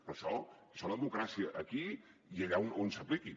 però això és la democràcia aquí i allà on s’apliqui